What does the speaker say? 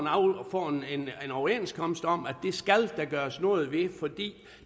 en overenskomst om at det skal der gøres noget ved fordi